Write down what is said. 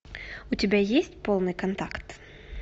у тебя есть полный контакт